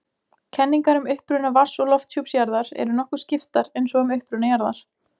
Kenningar um uppruna vatns- og lofthjúps jarðar eru nokkuð skiptar eins og um uppruna jarðar.